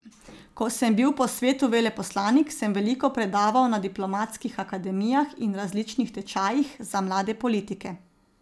Ko sem bil po svetu veleposlanik, sem veliko predaval na diplomatskih akademijah in različnih tečajih za mlade politike.